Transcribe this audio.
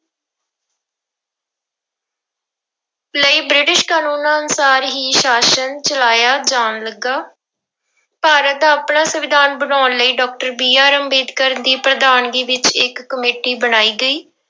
ਲਈ ਬ੍ਰਿਟਿਸ਼ ਕਾਨੂੰਨਾਂ ਅਨੁਸਾਰ ਹੀ ਸ਼ਾਸ਼ਨ ਚਲਾਇਆ ਜਾਣ ਲੱਗਾ, ਭਾਰਤ ਦਾ ਆਪਣਾ ਸੰਵਿਧਾਨ ਬਣਾਉਣ ਲਈ doctor BR ਅੰਬੇਦਕਰ ਦੀ ਪ੍ਰਧਾਨਗੀ ਵਿੱਚ ਇੱਕ ਕਮੇਟੀ ਬਣਾਈ ਗਈ।